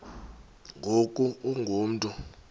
ngoku ungu mntu